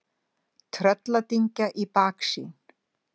Trölladyngja í baksýn.